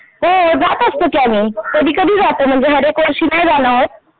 हो जातं असतो की आम्ही कधी कधी जातो म्हणजे हर एक वर्षी नाही जाणं होत.